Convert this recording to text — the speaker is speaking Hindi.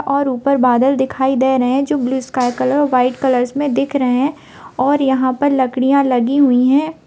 और ऊपर बादल दिखाई दे रहें है जो blue sky colour white colour दिख रहे हैं और यहाँ पर लकड़ियाँ लगी हुई है।